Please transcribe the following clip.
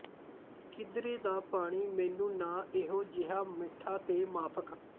ਕਿਧਰੇ ਦਾ ਪਾਣੀ ਮੈਨੂੰ ਨਾ ਇਹੋ ਜੇਹਾ ਮਿੱਠਾ ਤੇ ਮਾਫ਼ਕ